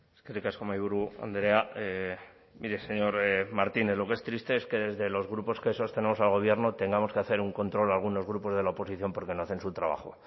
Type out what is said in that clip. eskerrik asko mahaiburu andrea mire señor martínez lo que es triste es que desde los grupos que sostenemos al gobierno tengamos que hacer un control a algunos grupos de la oposición porque no hacen su trabajo